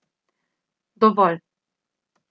Dovolj.